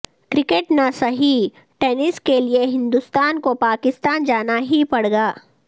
cricket نہ سہی tennis کیلئے ہندوستان کو پاکستان جانا ہی پڑے گا